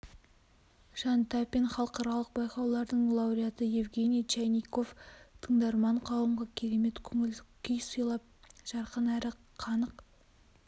жан тапин халықаралық байқаулардың лауреаты евгений чайников тыңдарман қауымға керемет көңіл-күй сыйлап жарқын әрі қанық